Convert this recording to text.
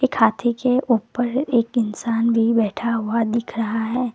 एक हाथी के ऊपर एक इंसान भी बैठा हुआ दिख रहा है।